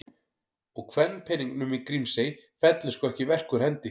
Og kvenpeningnum í Grímsey fellur sko ekki verk úr hendi.